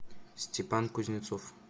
степан кузнецов